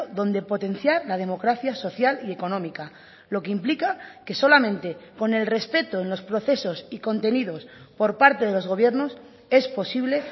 donde potenciar la democracia social y económica lo que implica que solamente con el respeto en los procesos y contenidos por parte de los gobiernos es posible